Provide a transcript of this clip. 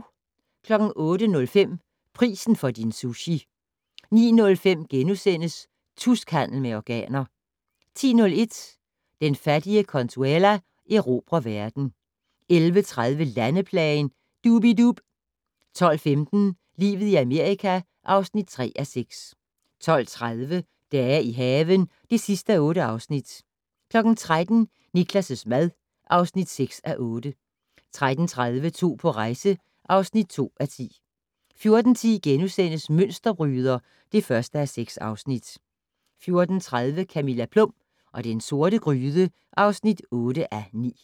08:05: Prisen for din sushi 09:05: Tuskhandel med organer * 10:01: Den fattige Consuela erobrer verden 11:30: Landeplagen - Dub-I-Dub 12:15: Livet i Amerika (3:6) 12:30: Dage i haven (8:8) 13:00: Niklas' mad (6:8) 13:30: To på rejse (2:10) 14:10: Mønsterbryder (1:6)* 14:30: Camilla Plum og den sorte gryde (8:9)